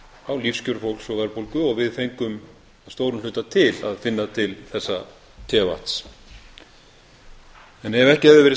á lífskjörum fólks og verðbólgu og við fengum að stórum hluta til að finna til þessa tevatns ef ekki hefðu verið